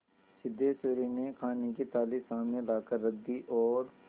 सिद्धेश्वरी ने खाने की थाली सामने लाकर रख दी और